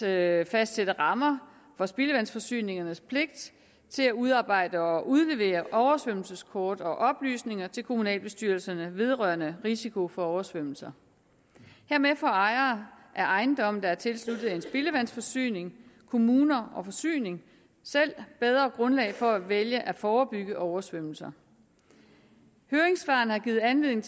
at fastsætte rammer for spildevandsforsyningernes pligt til at udarbejde og udlevere oversvømmelseskort og oplysninger til kommunalbestyrelserne vedrørende risiko for oversvømmelser hermed får ejere af ejendomme der er tilsluttet en spildevandsforsyning kommuner og forsyning selv bedre grundlag for at vælge at forebygge oversvømmelser høringssvarene har givet anledning